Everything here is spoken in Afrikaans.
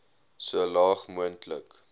so laag moontlik